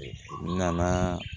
N nana